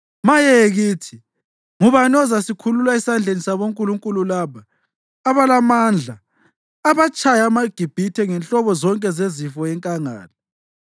Maye kithi! Ngubani ozasikhulula esandleni sabonkulunkulu laba abalamandla abatshaya amaGibhithe ngenhlobo zonke zezifo enkangala?